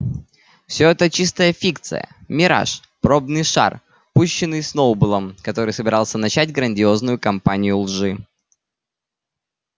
все это чистая фикция мираж пробный шар пущенный сноуболлом который собирался начать грандиозную кампанию лжи